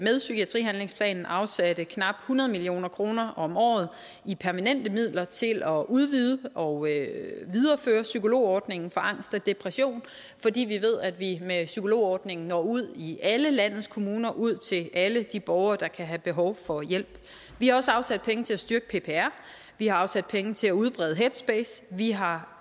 psykiatrihandlingsplanen afsatte knap hundrede million kroner om året i permanente midler til at udvide og videreføre psykologordningen for angst og depression fordi vi ved at vi med psykologordningen når ud i alle landets kommuner ud til alle de borgere der kan have behov for hjælp vi har også afsat penge til at styrke ppr vi har afsat penge til at udbrede headspace vi har